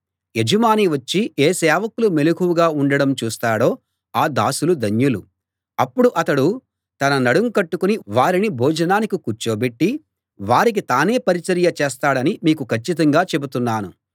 యజమాని వచ్చి ఏ సేవకులు మెలకువగా ఉండడం చూస్తాడో ఆ దాసులు ధన్యులు అప్పుడు అతడు తన నడుం కట్టుకుని వారిని భోజనానికి కూర్చోబెట్టి వారికి తానే పరిచర్య చేస్తాడని మీకు కచ్చితంగా చెబుతున్నాను